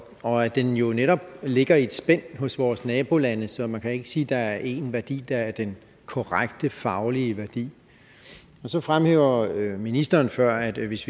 og at den jo netop ligger i et spænd hos vores nabolande så man kan ikke sige at der er én værdi der er den korrekte faglige værdi så fremhævede ministeren før at hvis